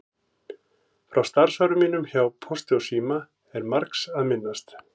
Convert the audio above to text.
Frá starfsárum mínum hjá Pósti og síma er margs að minnast.